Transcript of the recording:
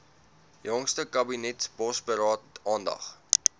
jongste kabinetsbosberaad aandag